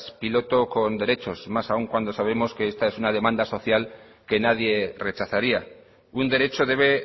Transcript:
piloto con derechos más aún cuando sabemos que esta es una demanda social que nadie rechazaría un derecho debe